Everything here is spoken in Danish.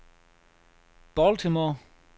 Baltimore